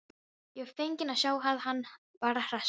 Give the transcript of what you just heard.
Ég var feginn að sjá að hann var að hressast!